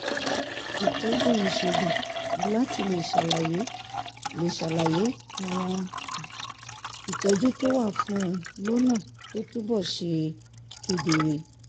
ìtọ́jú ìṣègùn láti lè ṣàlàyé lè ṣàlàyé àwọn um ìtọ́jú tó wà fún un lọ́nà tó túbọ̀ ṣe kedere